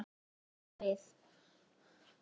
Þá skjótum við.